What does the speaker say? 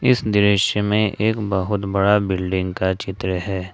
इस दृश्य में एक बहुत बड़ा बिल्डिंग का चित्र है।